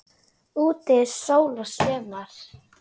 Úti er sól og sumar.